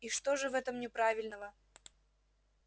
и что же в этом неправильного